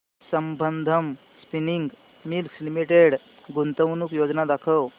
Sambandam spinning mills limited गुंतवणूक योजना दाखव